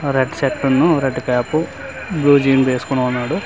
Red shirt న్ను red cap blue jean వేసుకొని ఉన్నాడు.